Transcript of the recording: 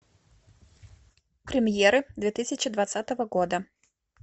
премьеры две тысячи двадцатого года